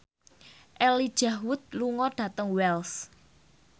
Elijah Wood lunga dhateng Wells